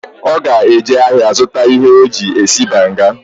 Oga eje ahia zuta ihe oji esi banga.